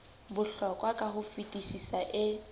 bohlokwa ka ho fetisisa e